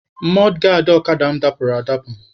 Mọdgaadị ọkada mụ dapụrụ adapụ.